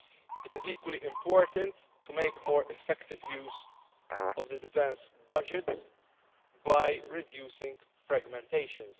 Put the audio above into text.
It is equally important to make more effective use of the defence budgets by reducing fragmentations.